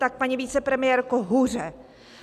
Tak, paní vicepremiérko, hůře.